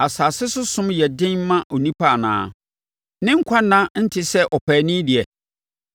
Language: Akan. “Asase so som nyɛ den mma onipa anaa? Ne nkwa nna nte sɛ ɔpaani deɛ?